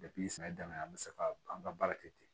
sɛnɛ daminɛ an bɛ se ka an ka baara kɛ ten